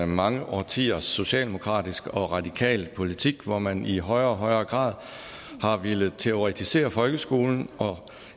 mange årtiers socialdemokratisk og radikal politik hvor man i højere og højere grad har villet teoretisere folkeskolen og